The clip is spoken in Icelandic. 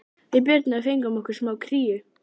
Við Birna fengum okkur smá kríu.